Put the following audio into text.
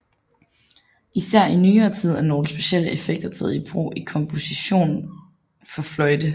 Især i nyere tid er nogle specielle effekter taget i brug i kompositioner for fløjte